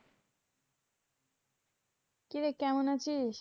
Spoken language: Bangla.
কিরে কেমন আছিস?